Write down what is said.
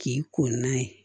K'i ko n'a ye